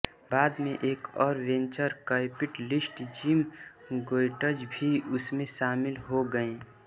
बाद में एक और वेंचर कैपिटलिस्ट जिम गोएट्ज भी इसमें शामिल हो गए